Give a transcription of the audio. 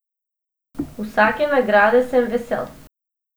Vsake nagrade sem vesel.